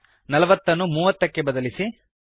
೪೦ ನಲವತ್ತನ್ನು ೩೦ ಮೂವತ್ತಕ್ಕೆ ಬದಲಿಸಿ